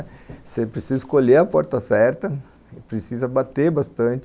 Você precisa escolher a porta certa, precisa bater bastante,